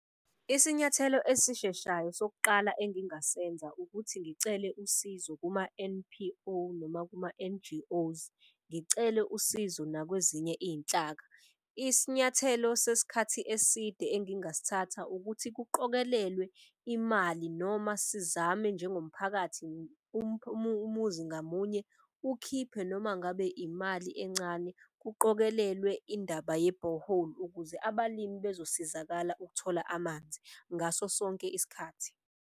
Isinyathelo esisheshayo sokuqala engingasenza ukuthi ngicele usizo kuma-N_P_O noma kuma-N_G_Os, ngicele usizo nakwezinye iy'nhlaka. Isinyathelo sesikhathi eside engingasithatha ukuthi kuqokelelwe imali. Noma sizame njengomphakathi umuzi ngamunye ukhiphe noma ngabe imali encane. Kuqokelelwe indaba yebhoholi. Ukuze abalimi bezosizakala ukuthola amanzi ngaso sonke isikhathi.